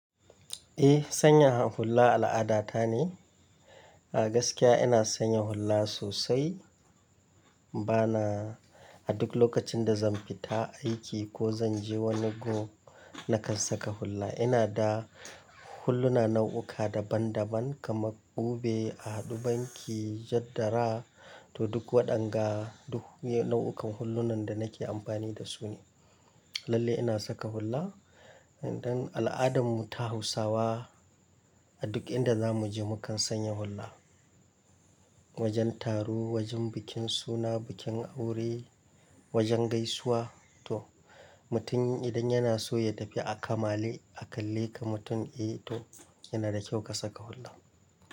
Eh, sanya hulla al'ada ta ne. A gaskiya ina sanya hulla sosai. Bana a duk lokacin da zan fita aiki ko zan je wani go, na kan saka hulla. Ina da hulluna nau'uka daban-daban kamar kubi, ahadu banki, jadara to duk waɗanga, duk nau'ukan hullunan da nake amfani da su ne. Lalle ina saka hulla. Idan al'adarmu ta Hausawa a duk inda za mu je mu kan sanya hulla. Wajen taro, wajen bikin suna, bikin aure, wajen gaisuwa to mutum idan yana so ya tafi a kamale a kalle kamar mutum, eh to yana da kyau ka saka hulla.